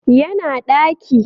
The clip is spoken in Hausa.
Ya na daki